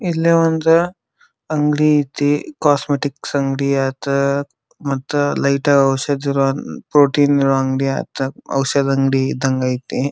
ಇಲ್ಲೇ ಒಂದುಅಂಗಡಿ ಅಯ್ತೆ ಕಾಸ್ಮೆಟಿಕ್ಸ್ ಅಂಗಡಿ ಆಯ್ತ್ ಮತ್ತ ಲೈಟ್ ಔಷದಿ ಇರೋ ಪ್ರೋಟೀನ್ ಅಂಗಡಿ ಆಯ್ತ್ ಔಷದಿ ಅಂಗಡಿ ಇದ್ದಂಗ ಐತೆ.